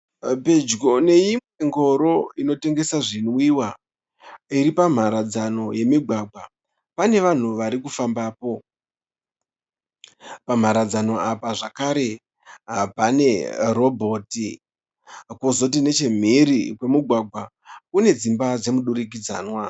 Pedyo neimwe ngoro inotengesa zvinwiwa iri pamharadzano yemigwagwa. Pane vanhu vari kufambapo. Pamharadzano apa zvakare pane robhoti kozoti nechemhiri kwimigwagwa kune dzimba dzemu durikidzanwa.